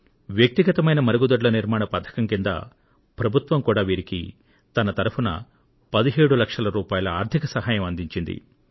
వ్యక్తిగతమైన మరుగుదొడ్ల నిర్మాణం పథకం కింద ప్రభుత్వం కూడా వీరికి తన తరపున 17 లక్షల రూపాయల ఆర్థిక సహాయం అందించింది